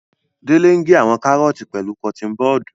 Dele ń ge àwọn kàrọọti pẹlu kọtin bọọdu.